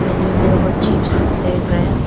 Side में मेरे को अजीब से देख रहा है।